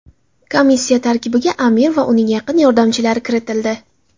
Komissiya tarkibiga amir va uning yaqin yordamchilari kiritildi.